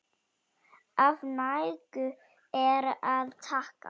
Af nægu er að taka!